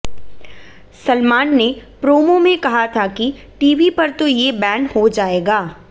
सलमान ने प्रोमो में कहा था कि टीवी पर तो ये बैन हो जाएगा